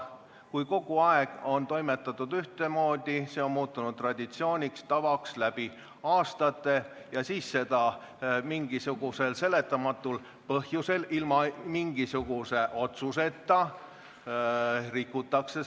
Kui kogu aeg on toimetatud ühtemoodi, see on muutunud traditsiooniks ja tavaks läbi aastate, siis seda tava aga mingisugusel seletamatul põhjusel, ilma mingisuguse otsuseta rikutakse.